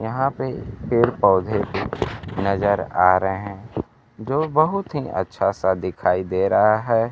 यहां पे पेड़-पौधे नजर आ रे हें जो बहुत हीं अच्छा सा दिखाई दे रहा है।